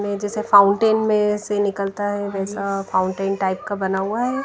में जैसा फाउंटेन में से निकलता है वैसा फाउंटेन टाइप का बना हुआ है।